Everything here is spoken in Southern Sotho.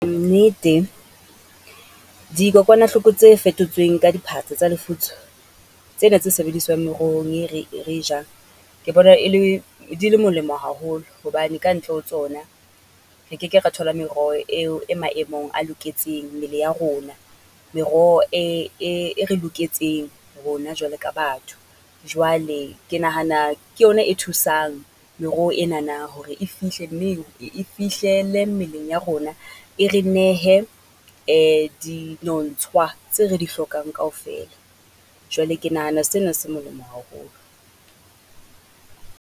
Nnete dikokwanahloko tse fetotsweng ka di tsa lefutso, tsena tse sebediswang merohong e re, re e jang. Ke bona e le di le molemo haholo, hobane ka ntle ho tsona re keke ra thola meroho eo e maemong a loketseng mmele ya rona. Meroho e re loketseng rona jwale ka batho. Jwale ke nahana ke yona e thusang meroho enana hore e fihle neng, e fihlele mmeleng ya rona. E re nehe di nontshwa tse re hlokang kaofela. Jwale ke nahana sena se molemo haholo.